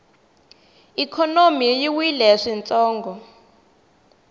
ikhonomi yi wile swintsongo